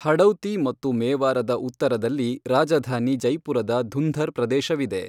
ಹಡೌತಿ ಮತ್ತು ಮೇವಾರದ ಉತ್ತರದಲ್ಲಿ ರಾಜಧಾನಿ ಜೈಪುರದ ಧುಂಧರ್ ಪ್ರದೇಶವಿದೆ.